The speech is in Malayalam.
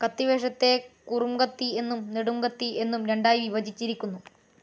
കത്തിവേഷത്തെ കുറുംകത്തി എന്നും നെടുംകത്തി എന്നും രണ്ടായി വിഭജിച്ചിരിക്കുന്നു.